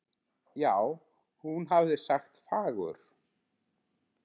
já, hún hafði sagt fagur!